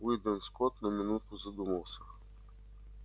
уидон скотт на минуту задумался